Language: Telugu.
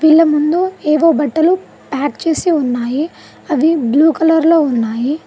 ఇలా ముందు ఏవో బట్టలు ప్యాక్ చేసి ఉన్నాయి అవి బ్లూ కలర్ లో ఉన్నాయి.